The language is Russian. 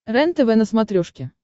рентв на смотрешке